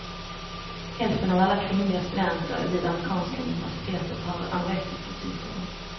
Hälften av alla kvinnliga studenter vid amerikanska universitet har anorektiska symptom.